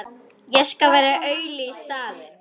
Ekki þessi læti.